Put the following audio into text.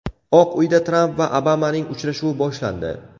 Oq Uyda Tramp va Obamaning uchrashuvi boshlandi.